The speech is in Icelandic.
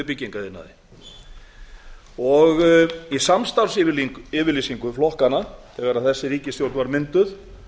af tólf hundruð í byggingariðnaði í samstarfsyfirlýsingu flokkanna þegar þessi ríkisstjórn var mynduð